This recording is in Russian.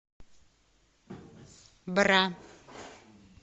бра